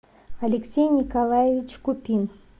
алексей николаевич купин